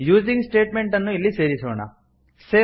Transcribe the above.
using statement ಅನ್ನು ಇಲ್ಲಿ ಸೇರಿಸೋಣ